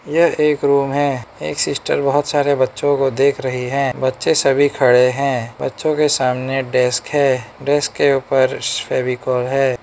यह एक रूम है एक सिस्टर बहुत सारे बच्चों को देख रही है बच्चे सभी खड़े हैं बच्चों के सामने डेस्क है डेस्क के ऊपर फेविकोल है।